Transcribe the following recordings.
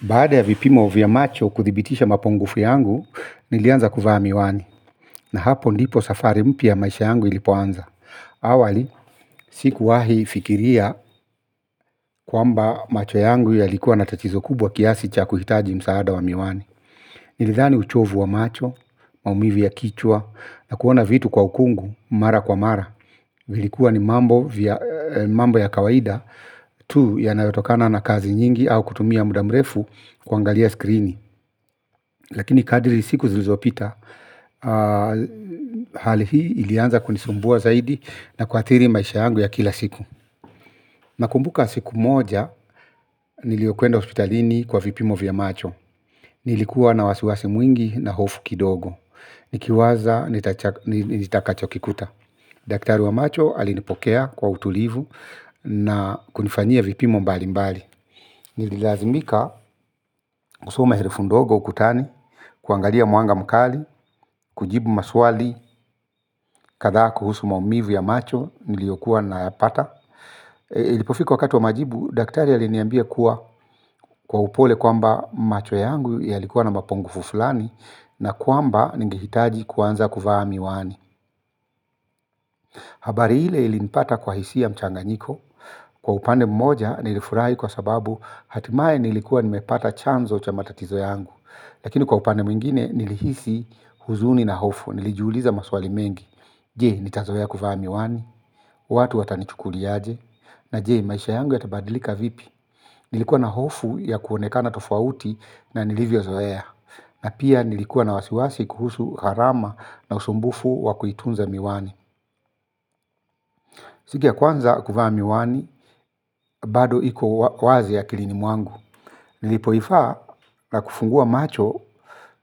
Baada ya vipimo vya macho kuthibitisha mapongufu yangu, nilianza kuvaa miwani. Na hapo ndipo safari mpya ya maisha yangu ilipoanza. Awali, sikuwahi fikiria kwamba macho yangu yalikuwa natachizo kubwa kiasi cha kuhitaji msaada wa miwani. Nilidhani uchovu wa macho, maumivi ya kichwa, na kuona vitu kwa ukungu, mara kwa mara. Vilikuwa ni mambo ya kawaida tu ya nayotokana na kazi nyingi au kutumia mudamrefu kuangalia skrini. Lakini kadiri siku zilizopita hali hii ilianza kunisumbua zaidi na kuathiri maisha yangu ya kila siku. Nakumbuka siku moja niliyokuenda hospitalini kwa vipimo vya macho. Nilikuwa na wasiwasi mwingi na hofu kidogo. Nikiwaza nitakachokikuta. Daktari wa macho alinipokea kwa utulivu na kunifanyia vipimo mbali mbali. Nililazimika kusoma herufi ndogo ukutani. Kuangalia mwanga mkali, kujibu maswali, kadha kuhusu maumivu ya macho niliyokuwa na yapata. Ilipofiku wakati wa majibu, daktari aliniambia kuwa kwa upole kwamba macho yangu yalikuwa na mapungufu fulani. Na kwamba ningehitaji kuanza kuvaa miwani. Habari ile ilinipata kwa hisia mchanganyiko. Kwa upande mmoja nilifurahi kwa sababu hatimaye nilikuwa nimepata chanzo cha matatizo yangu. Lakini kwa upande mwingine nilihisi huzuni na hofu, nilijiuliza maswali mengi. Je, nitazoea kuvaa miwani, watu watanichukuliaje, na je maisha yangu yatabadilika vipi. Nilikuwa na hofu ya kuonekana tofauti na nilivyo zoea. Na pia nilikuwa na wasiwasi kuhusu gharama na usumbufu wakuitunza miwani. Siku ya kwanza kuvaa miwani, bado iku wazi akilinimuangu. Nilipoivaa na kufungua macho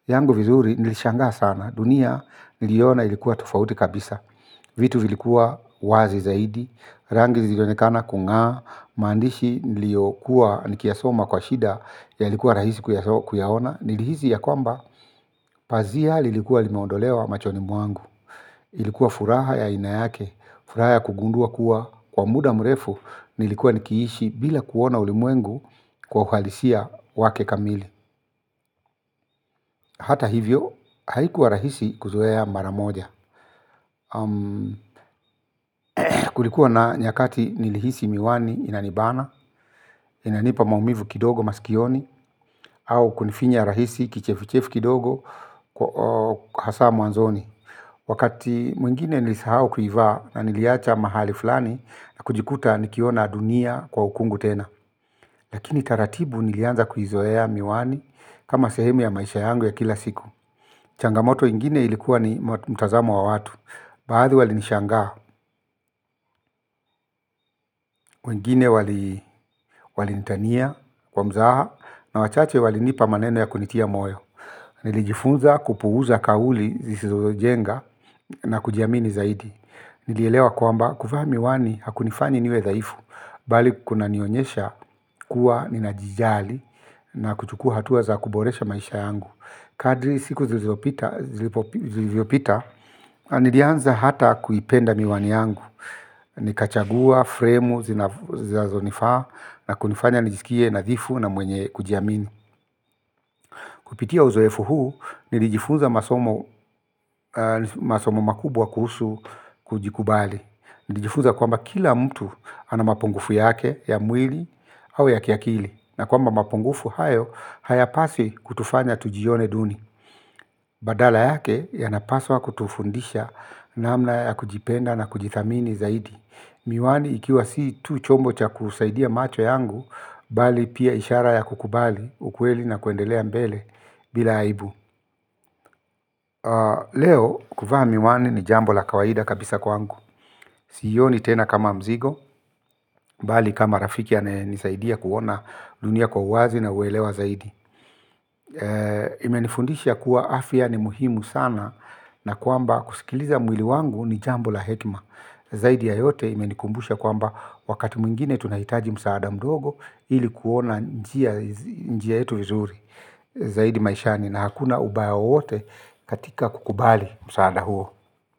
yangu vizuri nilishangaa sana. Dunia niliona ilikuwa tofauti kabisa. Vitu vilikuwa wazi zaidi, rangi zilionekana kunga, maandishi niliokuwa nikiyasoma kwa shida yalikuwa rahisi kuyaona. Nilihisi ya kwamba, pazia lilikuwa limaondolewa machoni mwangu. Ilikuwa furaha ya ainayake, furaha ya kugundua kuwa kwa muda mrefu, nilikuwa nikiishi bila kuona ulimwengu kwa kwa uhalisia wake kamili. Hata hivyo, haikuwa rahisi kuzoea ya mara moja. Kulikuwa na nyakati nilihisi miwani inanibana, inanipa maumivu kidogo masikioni. Au kunifinya rahisi kichefu chefu kidogo kwa hasa mwanzoni. Wakati mwingine nilisahau kuivaa na niliacha mahali fulani na kujikuta nikiona dunia kwa ukungu tena. Lakini taratibu nilianza kuizoea miwani kama sehemu ya maisha yangu ya kila siku. Changamoto ingine ilikuwa ni mtazamo wa watu. Baadhi wali nishangaa, wengine wali nitania kwa mzaha na wachache walinipa maneno ya kunitia moyo. Nilijifunza kupuuza kauli zizozo jenga na kujiamini zaidi. Nilielewa kwamba kuvaa miwani hakunifanyi niwe dhaifu. Bali kuna nionyesha kuwa ninajijali na kuchukua hatuwa za kuboresha maisha yangu. Kadri siku zilipopita, nilianza hata kuipenda miwani yangu. Ni kachagua, fremu, zinazo nifaa na kunifanya nijisikie nadhifu na mwenye kujiamini. Kupitia uzoefu huu nilijifunza masomo makubwa kuhusu kujikubali. Nijifunza kwamba kila mtu ana mapungufu yake ya mwili au ya kiakili. Na kwamba mapungufu hayo hayapasi kutufanya tujione duni. Badala yake yanapaswa kutufundisha namna ya kujipenda na kujithamini zaidi. Miwani ikiwa si tu chombo cha kusaidia macho yangu bali pia ishara ya kukubali, ukweli na kuendelea mbele bila aibu. Leo kuvaa miwani ni jambo la kawaida kabisa kwangu. Si iyoni tena kama mzigo, bali kama rafiki ya nisaidia kuona dunia kwa uwazi na uwelewa zaidi. Imenifundisha kuwa afya ni muhimu sana na kwamba kusikiliza mwili wangu ni jambo la hekima. Zaidi ya yote imenikumbusha kwamba wakati mwingine tunahitaji msaada mdogo ilikuona njia yetu vizuri zaidi maishani na hakuna ubaya wowote katika kukubali msaada huo.